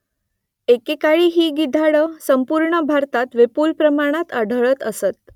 एके काळी ही गिधाडं संपूर्ण भारतात विपुल प्रमाणात आढळत असत